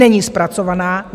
Není zpracovaná.